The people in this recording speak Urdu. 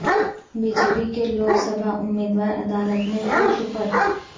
بی جے پی کے لوک سبھا امیدوار عدالت میں خود سپرد